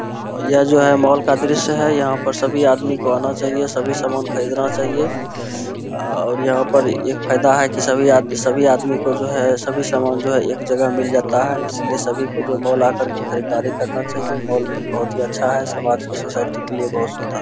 अ यह जो है मॉल का दृश्य है यहां पर सभी आदमी को आना चाहिए सभी समान खरीदना चाहिए आ और यहां पर ए एक फायदा है कि सभी सभी आदमी को जो है सभी समान जो है एक जगह मिल जाता है इसलिए सभी को जो है मॉल आकर के खरीददारी करना चाहिए मॉल बहुत ही अच्‍छा है समाज के सोसायटी के लिए बहुत सुन्दर --